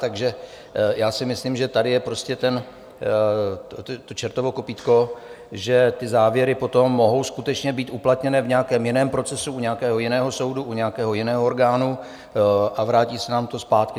Takže já si myslím, že tady je prostě to čertovo kopýtko, že ty závěry potom mohou skutečně být uplatněné v nějakém jiném procesu, u nějakého jiného soudu, u nějakého jiného orgánu, a vrátí se nám to zpátky.